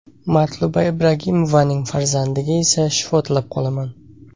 Matluba Ibragimovaning farzandiga esa shifo tilab qolaman.